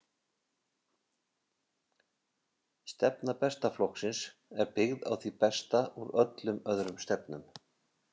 """Stefna Besta Flokksins er byggð á því besta úr öllum öðrum stefnum."